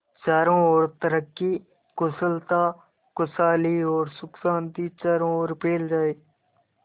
चारों और तरक्की कुशलता खुशहाली और सुख शांति चारों ओर फैल जाए